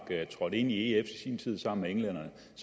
trådte ind i ef i sin tid sammen med englænderne